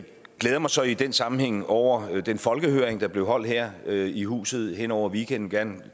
glæder mig så i den sammenhæng over den folkehøring der blev holdt her her i huset hen over weekenden